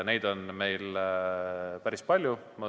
Neid on meil päris palju.